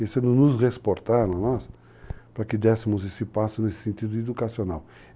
Isso nos exportaram, nós, para que dessemos esse passo nesse sentido educacional.